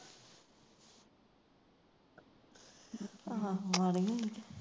ਆਹੋ ਮਾੜੀ ਹੋਈ ਕੇ